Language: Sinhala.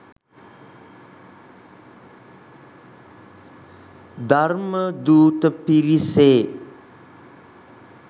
ධර්මදූත පිරිසේ